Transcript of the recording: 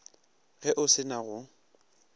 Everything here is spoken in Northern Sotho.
ge o se na go